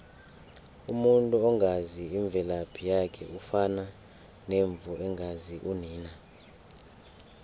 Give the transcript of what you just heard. umuntu ongazi imvelaphi yakhe ufana nemvu engazi unina